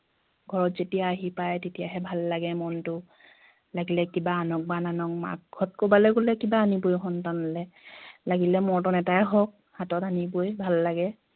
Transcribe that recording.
ঘৰত যেতিয়া আহি পায় তেতিয়াহে ভাল লাগে মনতো লাগিলে কিবা আনক বা নানকে মাক ঘৰত কৰবালে গলে কিবা আনিবই সন্তানলে লাগিলে মৰ্টন এটাই হওঁক হাতত আনিবই ভাল লাগে